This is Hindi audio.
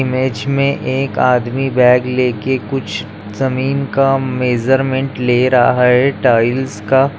इमेज मे एक आदमी बैग लेके कुछ जमीन का मेजरमेंट ले रहा है टाइल्स का--